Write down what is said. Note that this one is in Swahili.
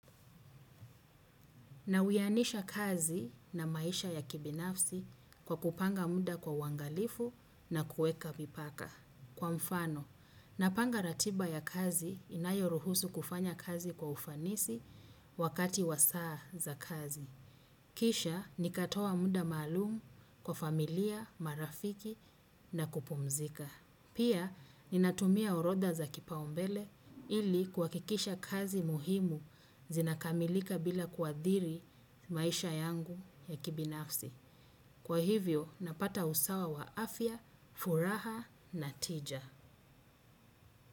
Na uyanisha kazi na maisha ya kibinafsi kwa kupanga muda kwa uangalifu na kuweka vipaka. Kwa mfano, napanga ratiba ya kazi inayo ruhusu kufanya kazi kwa ufanisi wakati wasaa za kazi. Kisha, nikatoa mda maalumu kwa familia, marafiki na kupumzika. Pia, ninatumia orodha za kipaumbele ili kuha kikisha kazi muhimu zinakamilika bila kuadhiri maisha yangu ya kibinafsi. Kwa hivyo, napata usawa wa afya, furaha na tija.